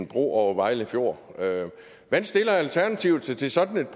bro over vejle fjord hvordan stiller alternativet sig til sådan et